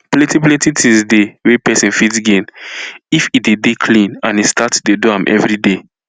plenti plenti things dey wey pesin fit gain if e dey dey clean and e start to dey do am everyday